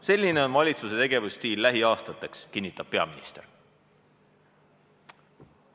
Selline on valitsuse tegevusstiil lähiaastateks," kinnitab peaminister.